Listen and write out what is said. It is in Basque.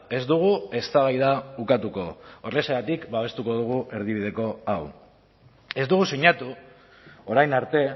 ez dugu eztabaida ukatuko horrexegatik babestuko dugu erdibideko hau ez dugu sinatu orain arte